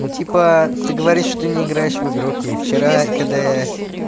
ну типа ты говоришь что ты не играешь в игру окей вчера когда я